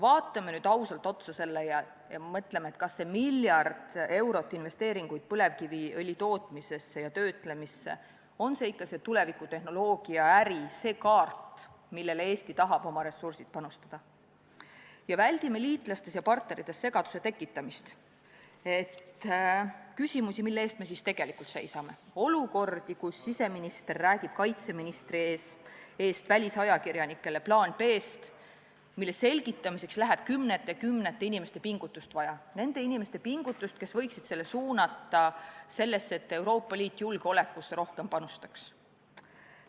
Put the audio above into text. Vaatame seda nüüd ausalt ja mõtleme, kas see miljard eurot investeeringuid põlevkiviõli tootmisesse ja töötlemisse on ikka see tuleviku tehnoloogiaäri, see kaart, millele Eesti tahab oma ressursid panustada, ning väldime liitlastes ja partnerites segaduse tekitamist, väldime küsimust, mille eest me siis tegelikult seisame, väldime olukorda, kus siseminister räägib kaitseministri eest välisajakirjanikele plaanist B, mille selgitamiseks läheb vaja kümnete ja kümnete inimeste pingutust, nende inimeste pingutust, kes võiksid selle energia suunata sellesse, et Euroopa Liit panustaks rohkem julgeolekusse.